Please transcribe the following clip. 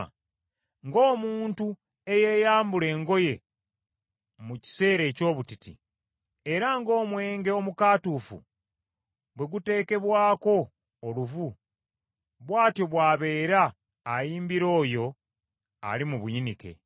Ng’omuntu eyeeyambula engoye mu kiseera eky’obutiti, era ng’omwenge omukaatuufu bwe guteekebwako oluvu, bw’atyo bw’abeera ayimbira oyo ali mu buyinike.